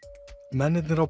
mennirnir á